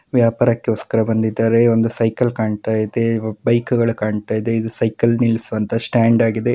ವ್ಯಾಪಾರಕೋಸ್ಕರ ಬಂದಿದ್ದಾರೆ. ಒಂದು ಸೈಕಲ್‌ ಕಾಣ್ತಾ ಇದೆ ಬೈಕ್‌ಗಳು ಕಾಣ್ತಾ ಇದೆ ಇದು ಸೈಕಲ್‌ ನಿಲ್ಲಿಸುವಂತಹ ಸ್ಟ್ಯಾಂಡ್‌ ಆಗಿದೆ.